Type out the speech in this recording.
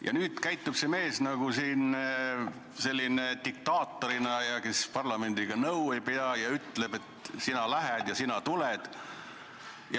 Ja nüüd käitub see mees nagu diktaator, kes parlamendiga nõu ei pea ja ütleb, et sina lähed ja sina tuled.